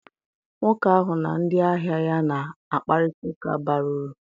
Nwoke ahụ na ndị ahịa ya na-akparịta ụka bara uru.